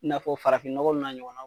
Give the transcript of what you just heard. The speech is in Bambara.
I n'a fɔ farafinɔgɔ ninnu n'a ɲɔgɔnna .